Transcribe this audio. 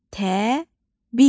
Təbil